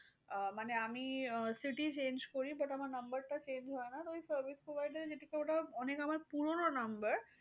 আহ মানে আমি ah city change করি। but আমার number টা change হয় না। তো আমি service provider ওটা আমার অনেক পুরোনো number